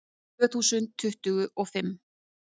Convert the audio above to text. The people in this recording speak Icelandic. Tvö þúsund tuttugu og fimm